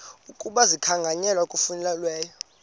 ukuba zikhankanywe ngokufanelekileyo